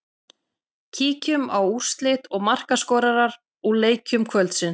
Kíkjum á úrslit og markaskorara úr leikjum kvöldsins.